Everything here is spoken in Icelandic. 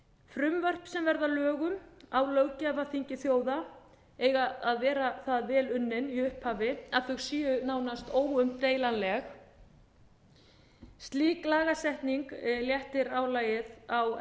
frumvörp sem verða að lögum á löggjafarþingi þjóða eiga að vera það vel unnin í upphafi að þau séu nánast óumdeilanleg slík lagasetning léttir álagið á